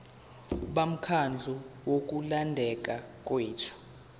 bomkhandlu wokulondeka kwethu